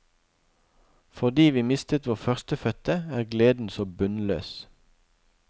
Fordi vi mistet vår førstefødte, er gleden så bunnløs.